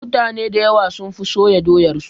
Mutane dayawa sun fi soya doyar su